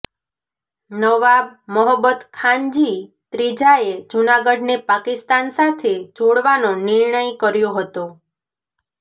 નવાબ મહોબ્બતખાનજી ત્રીજાએ જૂનાગઢને પાકિસ્તાન સાથે જોડવાનો નિર્ણય કર્યો હતો